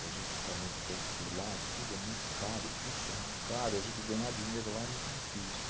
para a gente ficar muito tempo por lá, tudo é muito caro, o curso é muito caro, a gente ganhar dinheiro lá é muito difícil.